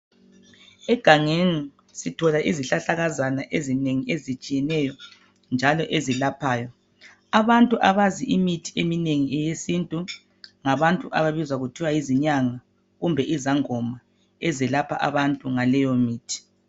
Egangeni sithola izihlahlakazana ezinengi ezitshiyeneyo njalo ezelaphayo, abantu abazi imithi eminengi eyesintu ngabantu ababizwa ngokuthiwa zinyanga kumbe izangoma ezelapha abantu ngaleyo mithi.